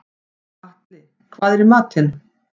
Atli, hvað er í matinn?